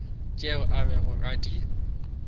tšeo a bego a di